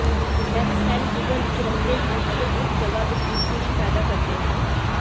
ਇਹ ਸੈੱਲ ਜਿਗਰ ਵਿੱਚ ਰਹਿੰਦੇ ਹਨ ਅਤੇ ਉਸ ਜਗ੍ਹਾ ਵਿੱਚ ਇਨਸੁਲਿਨ ਪੈਦਾ ਕਰਦੇ ਹਨ